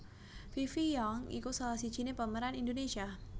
Fifi Young iku salah sijiné pemeran Indonesia